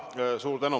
Suur tänu!